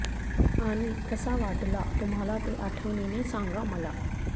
आणि कसा वाटला तुम्हाला ते आठवणीने सांगा मला